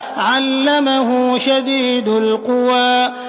عَلَّمَهُ شَدِيدُ الْقُوَىٰ